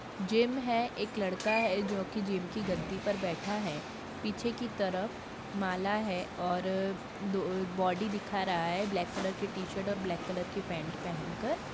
Gym है एक लड़का है जो कि जिम की गद्दी पर बैठा है पीछे की तरफ माला है और बॉडी दिखा रहा है काले रंग के टी-शर्ट और काले रंग की पेंट पहन कर।